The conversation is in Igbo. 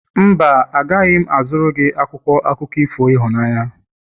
Mba, agaghị m azụrụ gị akwụkwọ akụkọ ifo ịhụnanya.